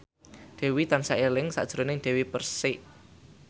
Dewi tansah eling sakjroning Dewi Persik